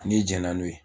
N'i jɛn na n'o ye